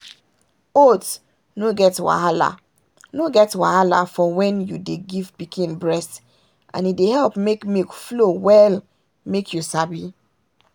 oats no get wahala no get wahala for when you dey give pikin breast and e dey help make milk flow well make you sabi?